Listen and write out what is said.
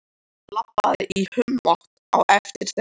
Labbaði í humátt á eftir þeim.